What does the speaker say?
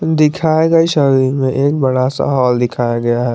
दिखाए गए शादी में एक बड़ा सा हॉल दिखाया गया है।